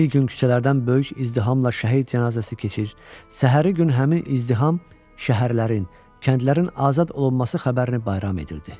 Bir gün küçələrdən böyük izdihamla şəhid cənazəsi keçir, səhəri gün həmin izdiham şəhərlərin, kəndlərin azad olunması xəbərini bayram edirdi.